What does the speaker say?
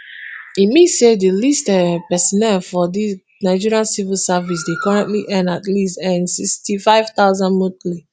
e mean say di least um personnel for di nigeria civil service dey currently earn at least nsixty-five thousand monthly